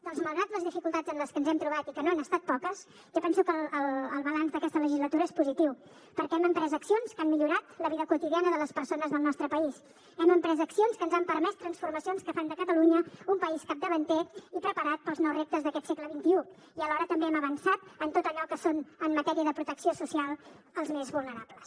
doncs malgrat les dificultats amb les que ens hem trobat i que no han estat poques jo penso que el balanç d’aquesta legislatura és positiu perquè hem emprès accions que han millorat la vida quotidiana de les persones del nostre país hem emprès accions que ens han permès transformacions que fan de catalunya un país capdavanter i preparat per als nous reptes d’aquest segle xxi i alhora també hem avançat en tot allò que són en matèria de protecció social els més vulnerables